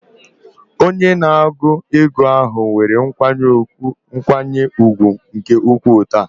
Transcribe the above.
Onye na-ego ego ahụ nwere nkwanye ùgwù nke ukwuu taa.